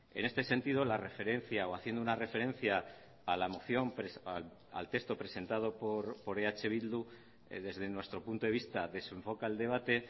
en este sentido la referencia o haciendo una referencia a la moción al texto presentado por eh bildu desde nuestro punto de vista desenfoca el debate